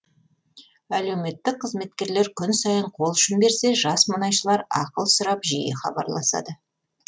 әлеуметтік қызметкерлер күн сайын қолұшын берсе жас мұнайшылар ақыл сұрап жиі хабарласады